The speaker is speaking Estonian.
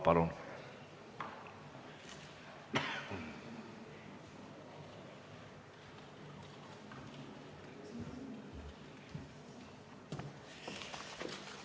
Palun!